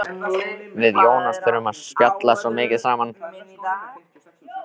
Við Jónas þurftum að spjalla svo mikið saman.